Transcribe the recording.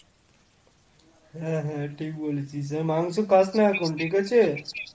হ্যাঁ হ্যাঁ ঠিক বলেছিস। আর মাংস খাস না এখন ঠিক আছে?